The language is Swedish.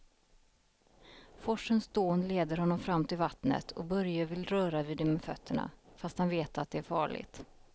Forsens dån leder honom fram till vattnet och Börje vill röra vid det med fötterna, fast han vet att det är farligt.